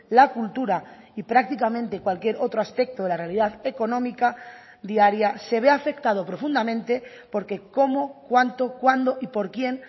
la cultura y prácticamente cualquier otro aspecto de la realidad económica diaria se ve afectado profundamente por que cómo cuánto cuándo y por quien